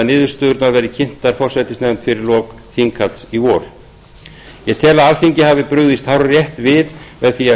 niðurstöðurnar verði kynntar forsætisnefnd fyrir lok þinghalds í vor ég tel að alþingi hafi brugðist hárrétt við með því að